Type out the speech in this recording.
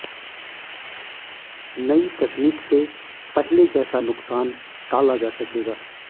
नई तकनीक से पहले जैसा नुकसान टाला जा सकेगा